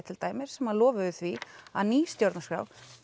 til dæmis sem lofuðu því að ný stjórnarskrá